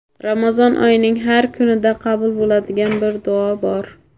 Ramazon oyining har kunida qabul bo‘ladigan bir duo bor.